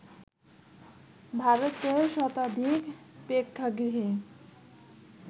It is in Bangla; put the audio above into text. ভারতের শতাধিক প্রেক্ষাগৃহে